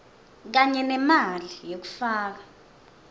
kanye nemali yekufaka